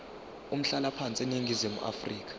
umhlalaphansi eningizimu afrika